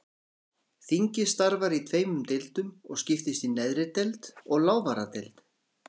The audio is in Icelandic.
Þingið starfar í tveimur deildum og skiptist í neðri deild og lávarðadeild.